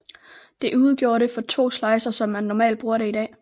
Det udgjorde det for to slidser som man normalt bruger det i dag